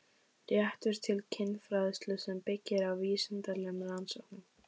Réttur til kynfræðslu sem byggir á vísindalegum rannsóknum